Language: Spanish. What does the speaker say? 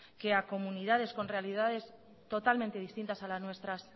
que a comunidades con realidades totalmente distintas a las nuestras